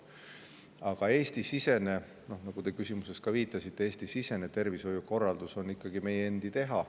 Aga Eesti-sisene tervishoiukorraldus, nagu te küsimuses viitasite, on ikkagi meie endi teha.